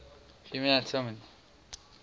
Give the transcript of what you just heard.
human anatomy